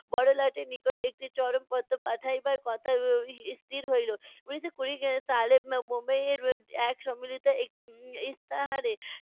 বড়লাটের নিকট একটি চরমপত্র পাঠাইবার কথা এর স্থির হইলো। উনিশশো কুড়ি সালে মুম্বাইয়ে এক সম্মিলিত একটি উম ইশতাহারে